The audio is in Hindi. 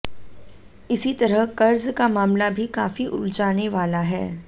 इसी तरह कर्ज़ का मामला भी काफ़ी उलझाने वाला है